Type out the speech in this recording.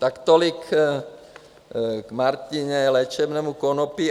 Tak tolik k Martině léčebnému konopí.